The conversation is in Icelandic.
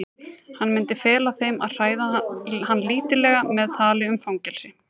Hann myndi fela þeim að hræða hann lítillega með tali um fangelsi.